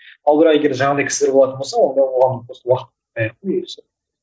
ал бірақ егер де жаңағыдай кісілер болатын болса онда оған уақыт